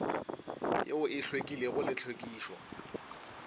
yeo e hlwekilego le tlhwekišo